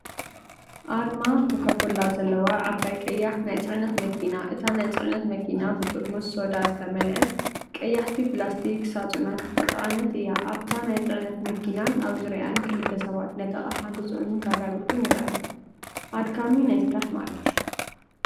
ኣርማ ኮካ ኮላ ዘለዋ ዓባይ ቀያሕ ናይ ጽዕነት መኪና። እታ ናይ ጽዕነት መኪና ብጥርሙዝ ሶዳ ዝተመልአ ቀያሕቲ ፕላስቲክ ሳጹናት ዝተጻዕነት እያ። ኣብታ ናይ ጽዕነት መኪናን ኣብ ዙርያኣን ክልተ ሰባት ነቲ ኣቕሓ ክጽዕኑን ከራግፉን ይረኣዩ። ኣድካሚ ናይ ስራሕ መዓልቲ።